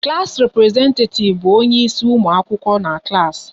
Klass representetativ bụ onye isi ụmụ akwụkwọ n'klass